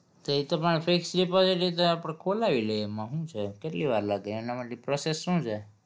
તે એ તો મારે fix deposit તો આપણે ખોલાવી લઇ એમાં શું છે કેટલી વાર લાગે? એના માટેની process શું છે?